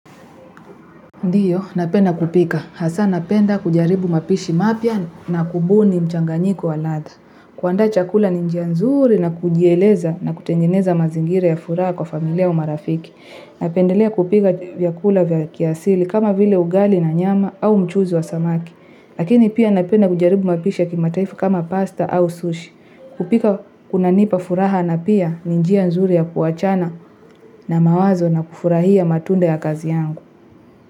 Ndiyo, napenda kupika. Hasa napenda kujaribu mapishi mapya na kubuni mchanganyiko waladha. Kuandaa chakula ninjia nzuri na kujieleza na kutengeneza mazingira ya furaha kwa familia au marafiki. Napendelea kupika vyakula vya kiasili kama vile ugali na nyama au mchuzi wa samaki. Lakini pia napenda kujaribu mapishi yakima taifa kama pasta au sushi. Kupika kuna nipa furaha na pia ninjia nzuri ya kuachana na mawazo na kufurahia matunda ya kazi yangu.